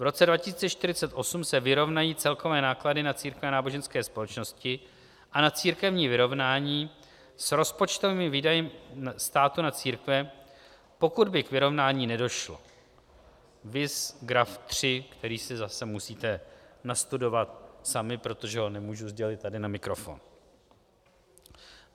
V roce 2048 se vyrovnají celkové náklady na církve a náboženské společnosti a na církevní vyrovnání s rozpočtovými výdaji státu na církve, pokud by k vyrovnání nedošlo - viz graf 3, který si zase musíte nastudovat sami, protože ho nemůžu sdělit tady na mikrofon.